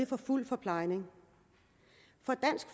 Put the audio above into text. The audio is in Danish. for fuld forplejning